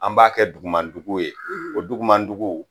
An b'a kɛ dugumandugu ye o dugumandugu